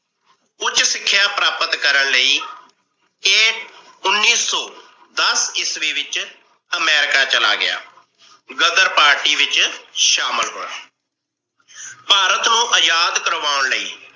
ਉੱਚ ਸਿੱਖਿਆ ਪ੍ਰਾਪਤ ਕਰਨ ਲਈ ਚੇਤ ਉਣੀ ਸੌ ਦਸ ਈਸਵੀ ਵਿੱਚ ਅਮਰੀਕਾ ਚਲਾ ਗਿਆ। ਗ਼ਦਰ ਪਾਰਟੀ ਵਿਚ ਸ਼ਾਮਿਲ ਹੋਇਆ। ਭਾਰਤ ਨੂੰ ਆਜ਼ਾਦ ਕਰਵਾਓਣ ਲਈ